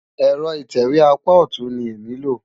Ẹ̀rọ ìtẹ̀wé apá ọ̀tún ni èmi lò.